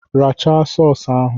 Rachara sọọs ahụ!